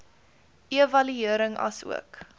evaluering asook